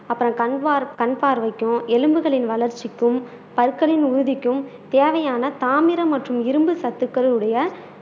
அப்புறோம் கண் பார்வைக்கும் எலும்புகளின் வளர்ச்சிக்கும் பற்களின் உறுதிக்கும் தேவையான தாமிரம் மற்றும் இரும்பு சத்துக்கள் உடைய